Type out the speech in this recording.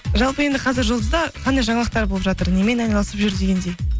жалпы енді қазір жұлдызда қандай жаңалықтар болып жатыр немен айналысып жүр дегендей